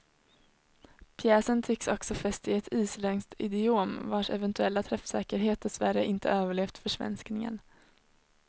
Pjäsen tycks också fäst i ett isländskt idiom vars eventuella träffsäkerhet dessvärre inte överlevt försvenskningen.